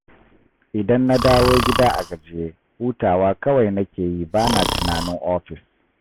Idan na dawo gida a gajiye, hutawa kawai nake yi ba na tunanin ofis